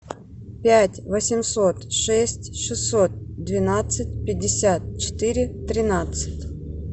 пять восемьсот шесть шестьсот двенадцать пятьдесят четыре тринадцать